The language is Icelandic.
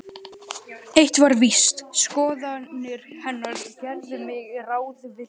Eitt var víst: Skoðanir hennar gerðu mig ráðvillta.